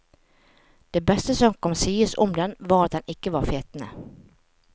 Det beste som kan sies om den, var at den ikke var fetende.